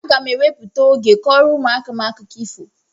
Aga m ewepụta oge kọọrọ ụmụaka m akụkọ ifo.